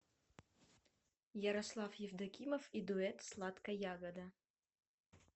ярослав евдокимов и дуэт сладка ягода